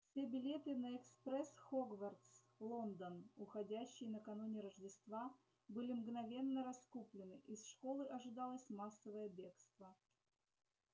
все билеты на экспресс хогвартс лондон уходящий накануне рождества были мгновенно раскуплены из школы ожидалось массовое бегство